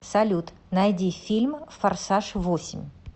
салют найди фильм форсаж восемь